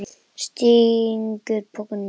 Stingur pokanum í það.